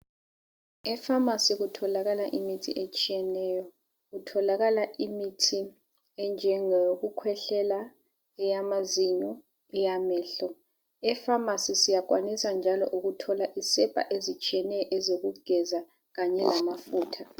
Efamasi kutholakala imithi etshiyeneyo kutholakala imithi enjengo yokukhwehlela, eyamazinyo, eyamehlo. Efamasi siyakwanisa njalo ukuthola isepa ezitshiyeneyo ezokugeza kanye lamafutha.